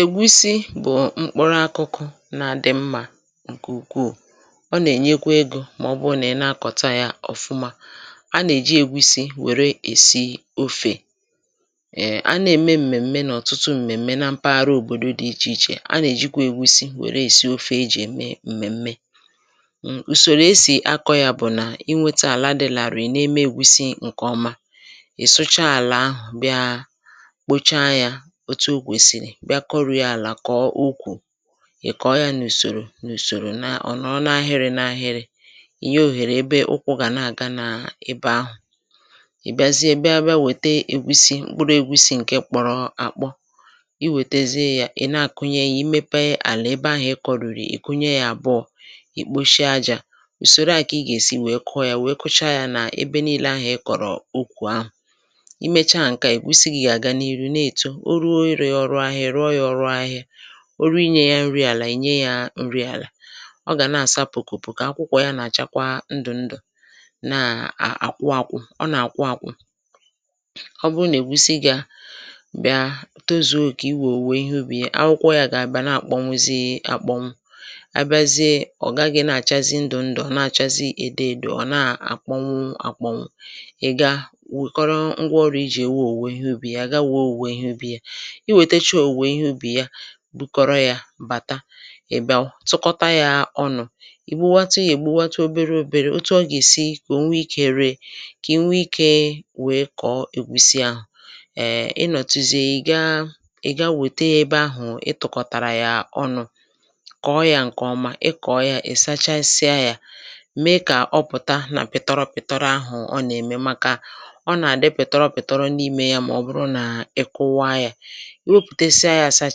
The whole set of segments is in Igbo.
ègusi bụ̀ mkpụrụ akụkụ na-adị̇ mmà ǹkèukwuù. ọ nà-ènyekwa egȯ màọbụ̀ nà ị na-akọ̀ta yȧ ọ̀fụma. a nà-èji ègusi wère èsi ofè. a na-ème m̀mèm̀me nà ọ̀tụtụ m̀mèm̀me na mpaghara òbòdo dị̇ ichè ichè. a nà-èjikwa ègusi wère èsi ofè e jì ème m̀mèm̀me. ùsòrò esì akọ̇ yȧ bụ̀ nà inweta àla dị̇ làrọ̀. e na-eme ègusi ǹkèọma. ì sụcha àlà ahụ̀ bịa, òtù ukwèsìrì bịa kọrìa àlà, kọ̀ọ ukwù, ị̀ kọ̀ọ yȧ n’ùsòrò n’ùsòrò nà ọ̀nọọ n’ahịrị̇ n’ahịrị̇, ị̀ nye òhèrè ebe ukwụ̇ gà nà-àga n’ebe ahụ̀. ị̀ bịazie bịa wète ègusi mkpụrụ ègusi ǹke kpọrọ àkpọ, ị wètezie yȧ, ị̀ na-àkụnye ya. i mepe àlà ebe ahụ̀ ị kọ̀rìrì, ị̀ kụnye ya àbụọ, ì kposhie ajȧ. ùsòro à kà ị gà-èsi wèe kụọ yȧ, wèe kụcha yȧ nà ebe niilė ahụ̀ ị kọ̀rọ̀ ukwù ahụ̀. i mecha à ǹka ì wusigi àga n’ihu na-èto ruo irė ya. ọrụ ahịa, ị̀ rụọ ya ọrụ ahịa, o rù inye ya nri àlà, ị̀ nye ya nri àlà. ọ gà na-àsa pùkùpù kà akwụkwọ ya nà àchakwa ndụ̀ ndụ̀, na àkwụ akwụ, ọ nà àkwụ akwụ̇. ọ bụ nà ègusi gị̇ a bịa tozuo, kà i wèè òwè ihe ubì. akwụkwọ ya gà àbịa na-àkpọnwụzị àkpọnwụ, a bịazịa, ọ̀ gaghị̇ na àchazị ndụ̀ ndụ̀, ọ̀ na-àchazị edè èdè, ọ̀ na-àkpọnwụ àkpọnwụ. ị̀ ga wèkọrọ ngwa ọrù i jì ewe òwe ha ubi ya gawa. òwe ihe ubì ya bụkọrọ yȧ bàta, ị̀ bịa ụ̀tụkọta yȧ ọnụ̇, ìgbuwatȯ yȧ, ègbúwatȯ obere ȯbėrė. otu ọ gà-èsi kà o nwa ikė ree, kà ì nwa ikė wèe kọ̀ọ, ègbùsi àhụ̀. ị nọ̀tụzị ìga, ị gawète ebe ahụ̀ ị tụkọ̀tàrà yȧ ọnụ̇, kọ̀ọ yȧ. ǹkèọma, ị kọ̀ọ yȧ, ị̀ sachasịa yȧ, mee kà ọ pụ̀ta nà pịtọrọ pịtọrọ ahụ̀. ọ nà-ème màkà ọ nà-àdị pịtọrọ pịtọrọ n’imė ya. màọbụrụ nà ịkụwa yȧ, iwepùte, sịa yȧ, àsaa,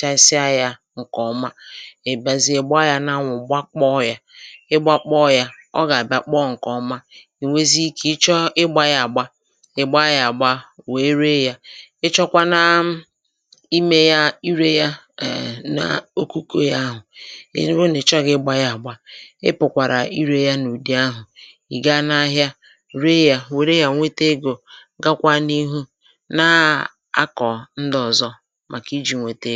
chàsịa yȧ. ǹkè ọma, ị̀ bàzii, ị̀ gbaa yȧ n’anwụ̀, gbakpọ yȧ. ị gbakpọ yȧ, ọ gà-àbịa kpọọ ǹkè ọma. ì nweziikȧ, ị chọọ ịgbȧ yȧ àgba, ị̀ gbaa yȧ àgba, wèe ree yȧ. ị chọkwa nàà imė yȧ, ịrė yȧ, èe n’okuku yȧ ahụ̀. i hụ nà, ị chọghị̇ ịgbȧ yȧ àgba, ị pụ̀kwàrà ịrė yȧ n’ùdì ahụ̀. ị̀ ga n’ahịa ree yȧ, wèe ree yȧ, nwete egȯ, gakwa n’ihu na akọ̀ ndị ọ̀zọ màkà iji̇ nwete.